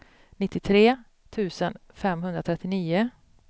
nittiotre tusen femhundratrettionio